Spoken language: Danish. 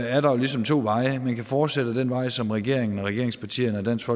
er der ligesom to veje at gå man kan fortsætte ad den vej som regeringen og regeringspartierne og dansk